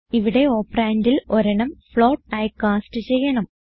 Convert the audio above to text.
ഇവിടെ operandൽ ഒരെണ്ണം ഫ്ലോട്ട് ആയി കാസ്റ്റ് ചെയ്യണം